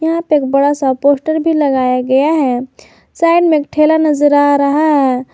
एक बड़ा सा पोस्ट भी लगाया गया है साइड में ठेला नजर आ रहा है।